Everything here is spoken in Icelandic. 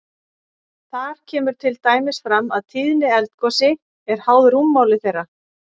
Þar kemur til dæmis fram að tíðni eldgosi er háð rúmmáli þeirra.